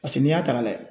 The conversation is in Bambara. Paseke n'i y'a ta ka layɛ